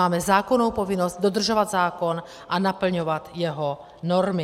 Máme zákonnou povinnost dodržovat zákon a naplňovat jeho normy.